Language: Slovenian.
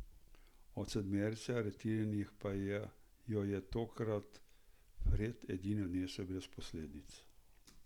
Od sedmerice aretiranih pa jo je takrat Fred edini odnesel brez posledic.